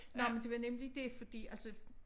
Nåh men det var nemlig det fordi altså